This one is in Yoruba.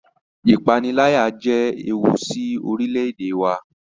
Ìpaniláyà jẹ ẹwù sí orílè-èdè wà